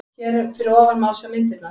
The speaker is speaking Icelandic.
Hér fyrir ofan má sjá myndirnar